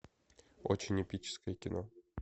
очень эпическое кино